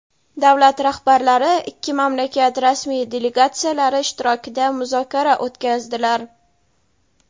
Davlat rahbarlari ikki mamlakat rasmiy delegatsiyalari ishtirokida muzokara o‘tkazdilar.